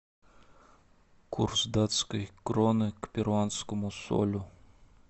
курс датской кроны к перуанскому солю